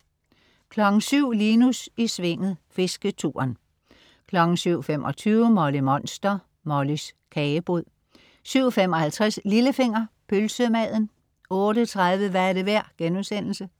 07.00 Linus i Svinget. Fisketuren 07.25 Molly Monster. Mollys kagebod 07.55 Lillefinger. Pølsemaden 08.30 Hvad er det værd?*